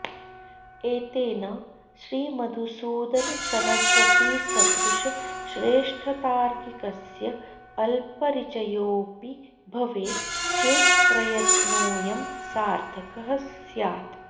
एतेन श्रीमधुसूदनसरस्वतीसदृशश्रेष्ठतार्किकस्य अल्परिचयोऽपि भवेत् चेत् प्रयत्नोऽयं सार्थकः स्यात्